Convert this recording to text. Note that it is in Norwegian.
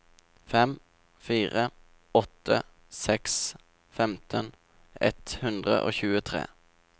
fem fire åtte seks femten ett hundre og tjuetre